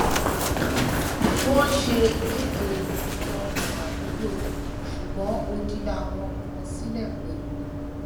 wọn ṣe ìkéde gbongàn àdúgbò ṣùgbọn odi làwọn kàn sílẹ pẹlú